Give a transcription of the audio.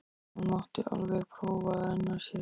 Hún mátti alveg prófa að renna sér.